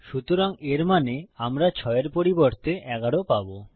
সুতরাং এর মানে আমরা ৬ এর পরিবর্তে ১১ পাবো